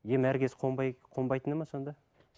ем әр кез қонбайтыны ма сонда